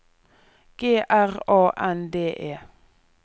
G R A N D E